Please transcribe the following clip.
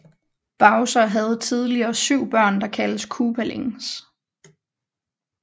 Bowser havde tidligere 7 børn der kaldes Koopalings